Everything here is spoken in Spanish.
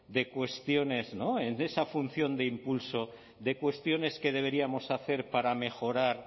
de cuestiones de esa función de impulso de cuestiones que deberíamos hacer para mejorar